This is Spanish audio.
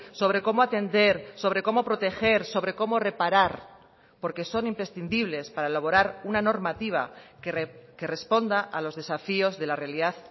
sobre cómo atender sobre cómo proteger sobre como reparar porque son imprescindibles para elaborar una normativa que responda a los desafíos de la realidad